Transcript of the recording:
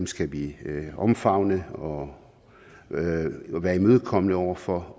skal vi omfavne og være imødekommende over for